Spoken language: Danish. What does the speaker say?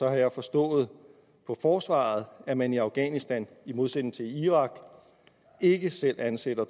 at jeg har forstået på forsvaret at man i afghanistan i modsætning til i irak ikke selv ansætter